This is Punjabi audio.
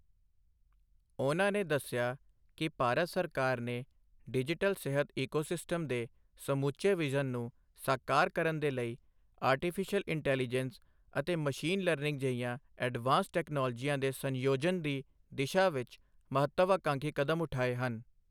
ਉਨ੍ਹਾਂ ਨੇ ਦੱਸਿਆ ਕਿ ਭਾਰਤ ਸਰਕਾਰ ਨੇ ਡਿਜੀਟਲ ਸਿਹਤ ਈਕੋਸਿਸਟਮ ਦੇ ਸਮੁੱਚੇ ਵਿਜ਼ਨ ਨੂੰ ਸਾਕਾਰ ਕਰਨ ਦੇ ਲਈ ਆਰਟੀਫਿਸ਼ੀਅਲ ਇੰਟੈਲੀਜੈਂਸ ਅਤੇ ਮਸ਼ੀਨ ਲਰਨਿੰਗ ਜਿਹੀਆਂ ਐਡਵਾਂਸਡ ਟੈਕਨੋਲੋਜੀਆਂ ਦੇ ਸੰਯੋਜਨ ਦੀ ਦਿਸ਼ਾ ਵਿੱਚ ਮਹੱਤਵਆਕਾਂਖੀ ਕਦਮ ਉਠਾਏ ਹਨ।